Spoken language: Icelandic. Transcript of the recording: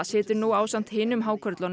situr nú ásamt hinum